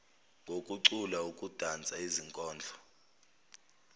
ngokucula ukudansa izikondlo